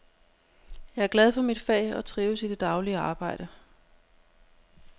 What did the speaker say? Jeg er glad for mit fag og trives i det daglige arbejde.